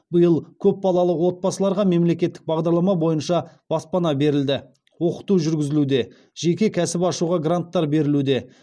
биыл көп балалы отбасыларға мемлекеттік бағдарлама бойынша баспана берілді оқыту жүргізілуде жеке кәсіп ашуға гранттар берілуде